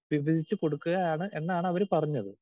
Speaker 2 വിഭജിച്ച് കൊടുക്കുകയാണ് എന്നാണ് അവർ പറഞ്ഞത്.